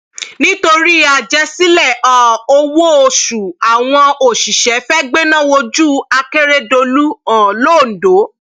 nítorí àjẹsílẹ um owóoṣù àwọn òṣìṣẹ fẹẹ gbéná wójú akérèdọlù um londo